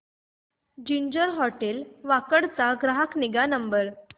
ginger hotel Wakad चा ग्राहक निगा नंबर